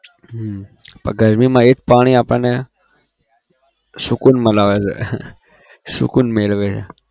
હમ ગરમીમાં એ જ પાણી આપણને સુકુન છે સુકુન મેળવે